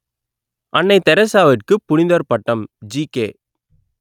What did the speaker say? அன்னை தெரசாவுக்கு புனிதர் பட்டம் ஜிகே